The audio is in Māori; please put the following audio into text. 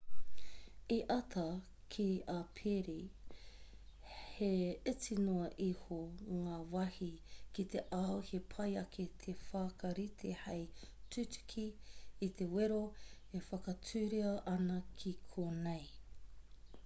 i āta kī a perry he iti noa iho ngā wāhi ki te ao he pai ake te whakarite hei tutuki i te wero e whakatūria ana ki konei